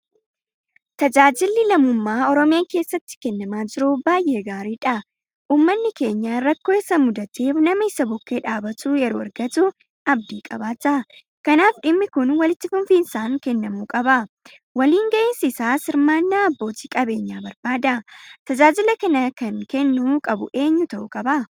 Tajaajilli lammummaa Oromiyaa keessatti kennamaa jiru baay'ee gaariidha. Uummanni keenya rakkoo isa mudateef nama isa bukkee dhaabbatu yeroo argatu abdii qabaata. Kanaaf dhimmi kun walitti fufinsaan kennamuu qaba. Waliin gahinsi isaas hirmaannaa abbootii qabeenyaa barbaada. Tajaajila kana kan kennuu qabu eenyu ta'uu qaba?